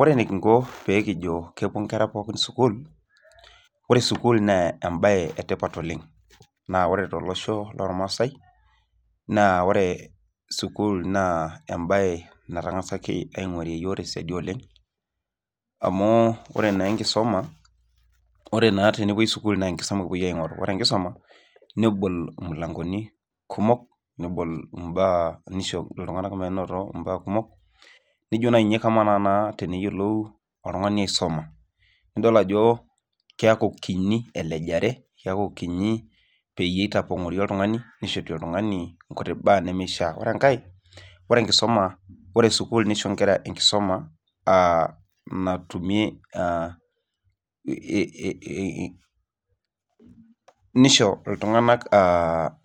Ore enekinko peekijo kepwo nkera pookin sukuul, ore sukuul naa embae e tipat oleng tolosho lormaasai naa ore sukuul naa embae natang'asaki aing'warie iyiok te siadi oleng amu ore naa enkisoma, ore naa tenepwoi sukuul naa enkisoma epwoi aaing'oru. Ore enkisoma nebol imulangoni kumok, nebol mbaak, nisho iltung'anak minoto imbaak kumok nijo naa naai ninye kamaa teneyiolou oltung'ani aisoma, nidol ajo keeku kinyi elejare, keeku kinyi peyie eitapong'oori oltung'ani nishori oltung'ani nkuti baak nemishia. Ore enkae, ore enkisoma, ore sukuul nisho nkera enkisoma natumi aa nisho iltung'anak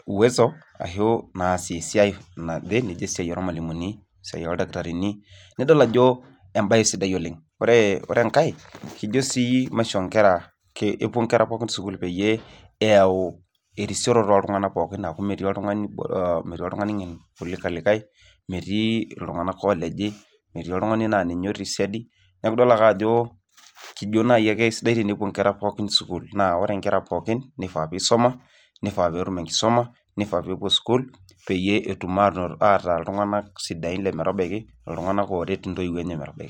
uwezo ashu naasie esiai naje, nijo esiai ormalimuni, esiai oldakitarini, nidol ajo embae sidai oleng. Ore enkae, kijo sii maishoo nkera, epwo nkera pookin sukuul peyie eyau erisioroto ooltung'anak pooki aaku metii oltung'ani ng'en kuliko olikae, metii iltung'anak ooleji, metii oltung'ani naa ninye otii siadi. Neeku idol ake ajo kijo naai ake sidai tenepwo nkera pookin sukuul. Naa ore nkera pookin, nifaa piisuma, nifaa peetum enkisuma, nifaa peepwo sukuul peyie etum ataa iltung'anak sidain lemetabaiki, iltung'anak looret intoiwuo enye metabaiki